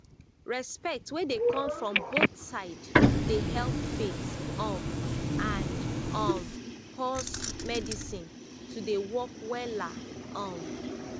respect wey dey come from both side dey help faith um and um pause medicine to dey work wella um